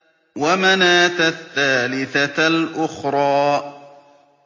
وَمَنَاةَ الثَّالِثَةَ الْأُخْرَىٰ